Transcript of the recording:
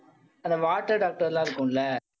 அந்த water doctor எல்லாம் இருக்கும்ல